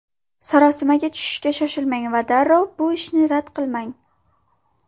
Sarosimaga tushishga shoshilmang va darrov bu ishni rad qilmang.